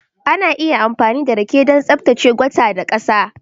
Ana iya amfani da rake don tsaftace gutter da ƙasa